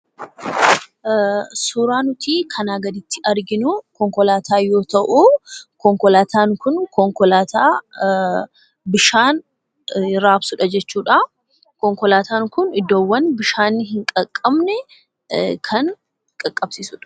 Suuraa nuti kanaa gaditti arginu konkolaataa yoo ta'u, konkolataan kun konkolaataa bishaan rabsuudha jechuu dha. Konkolataan Kun bakka bishaan hin dhaqabne kan dhaqabsiisuu dha.